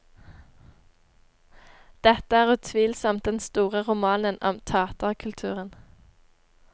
Dette er utvilsomt den store romanen om taterkulturen.